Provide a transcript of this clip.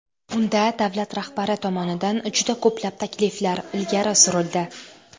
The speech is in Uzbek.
Unda Davlat rahbari tomonidan juda ko‘plab takliflar ilgari surildi.